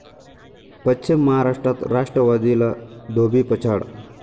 पश्चिम महाराष्ट्रात राष्ट्रवादीला धोबीपछाड